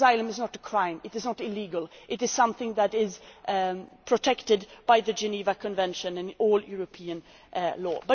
To seek asylum is not a crime, it is not illegal. It is something that is protected by the Geneva Convention in all European law.